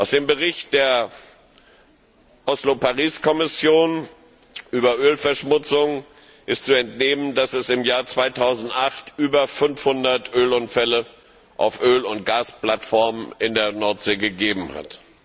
Dem Bericht der Oslo Paris Kommission über Ölverschmutzung ist zu entnehmen, dass es im Jahr 2008 über 500 Ölunfälle auf Öl und Gasplattformen in der Nordsee gegeben hat.